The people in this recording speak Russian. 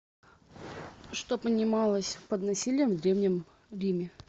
что понималось под насилием в древнем риме